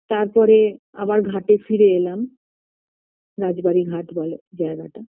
তার পরে আবার ঘাটে ফিরে এলাম রাজবাড়ি ঘাট বলে জায়গাটা